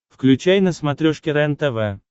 включай на смотрешке рентв